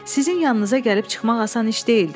Sizin yanınıza gəlib çıxmaq asan iş deyildi.